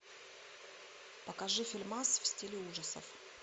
покажи фильмас в стиле ужасов